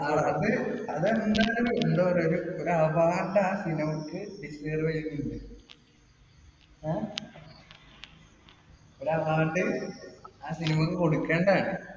അത് അതെന്തായാലും എന്താ പറയാ ഒരു award ആ cinema ക്ക് deserve ചെയ്യുന്നുണ്ട്. ങേ? ഒരു award ആ cinema ക്ക് കൊടുക്കേണ്ടതാണ്.